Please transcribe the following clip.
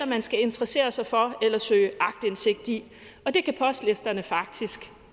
man skal interessere sig for eller søge aktindsigt i og det kan postlisterne faktisk